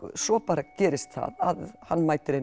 svo bara gerist það að hann mætir einu